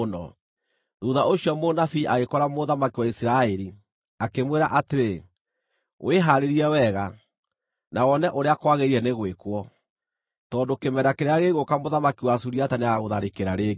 Thuutha ũcio mũnabii agĩkora mũthamaki wa Isiraeli, akĩmwĩra atĩrĩ, “Wĩhaarĩrie wega, na wone ũrĩa kwagĩrĩire nĩ gwĩkwo, tondũ kĩmera kĩrĩa gĩgũũka mũthamaki wa Suriata nĩagagũtharĩkĩra rĩngĩ.”